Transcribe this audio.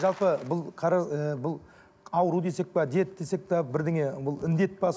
жалпы бұл ыыы бұл ауру десек пе дерт десек пе бірдеңе бұл індет пе